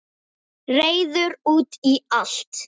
Reiður út í allt.